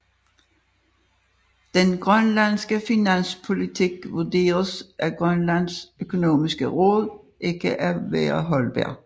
Den grønlandske finanspolitik vurderes af Grønlands Økonomiske Råd ikke at være holdbar